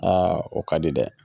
Aa o ka di dɛ